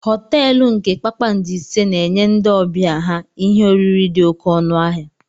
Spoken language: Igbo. Họteelu nke kpakpando ise na-enye ndị ọbịa ha ihe oriri dị oké ọnụ ahịa.